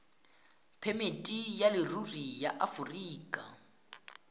phemiti ya leruri ya aforika